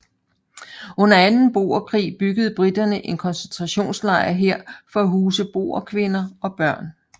Under anden boerkrig byggede briterne en koncentrationslejr her for at huse boerkvinder og børn